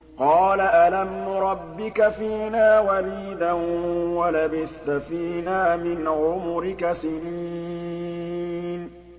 قَالَ أَلَمْ نُرَبِّكَ فِينَا وَلِيدًا وَلَبِثْتَ فِينَا مِنْ عُمُرِكَ سِنِينَ